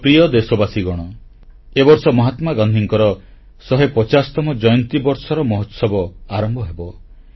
ମୋର ପ୍ରିୟ ଦେଶବାସୀଗଣ ଏ ବର୍ଷ ମହାତ୍ମାଗାନ୍ଧୀଙ୍କ 150ତମ ଜୟନ୍ତୀ ବର୍ଷର ମହୋତ୍ସବ ଆରମ୍ଭ ହେବ